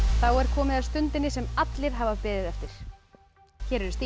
þá er komið að stundinni sem allir hafa beðið eftir hér eru stigin